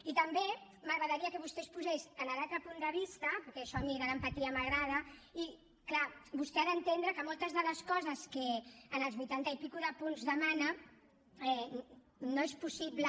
i també m’agradaria que vostè es posés en l’altre punt de vista perquè això a mi de l’empatia m’agrada i clar vostè ha d’entendre que moltes de les coses que en els vuitanta punts i escaig demana no és possible